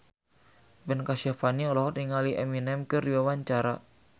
Ben Kasyafani olohok ningali Eminem keur diwawancara